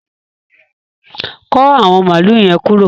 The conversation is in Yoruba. Kọ̀ àwọn máàlù yẹ̀n kúró